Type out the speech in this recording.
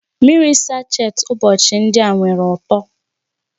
Mmiri sacheti ụbọchị ndị a nwere uto